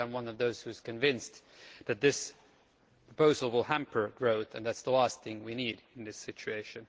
I am one of those who are convinced that this proposal will hamper growth, and that is the last thing we need in this situation.